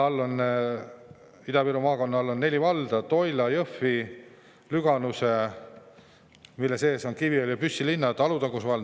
Ida-Viru maakonnas on neli valda: Toila, Jõhvi, Lüganuse, mille sees on Kiviõli ja Püssi linn, ning Alutaguse vald.